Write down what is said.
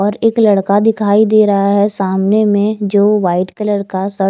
और एक लड़का दिखाई दे रहा है सामने में जो व्हाईट कलर का शर्ट।